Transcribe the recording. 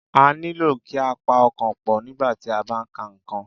A nílò kí a pa ọkàn pọ̀, nígbà tí a bá ń ka nǹkan